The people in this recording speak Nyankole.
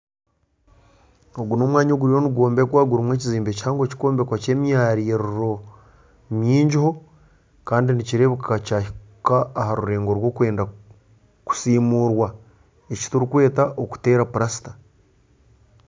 Ogu n'omwanya oguriyo nigwombekwa gurimu ekizimbe kihango kirikwombekwa ky'emyaririro mingiho kandi nikireebeka kyahika aha rurengo rw'okwenda kusimurwa eki turikweta okuteera pulasita.